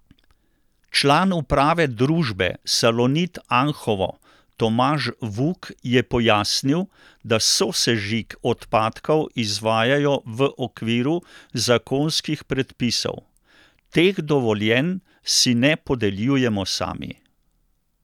Član uprave družbe Salonit Anhovo Tomaž Vuk je pojasnil, da sosežig odpadkov izvajajo v okviru zakonskih predpisov: 'Teh dovoljenj si ne podeljujemo sami.